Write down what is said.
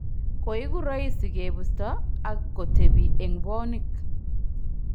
Koiku roisi kebusto ak kotebi eng bwonik